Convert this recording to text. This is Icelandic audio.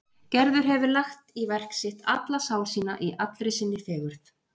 Gerður hefur lagt í verk sitt alla sál sína í allri sinni fegurð.